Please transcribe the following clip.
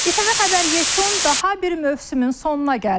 İTV xəbər yekun daha bir mövsümün sonuna gəldi.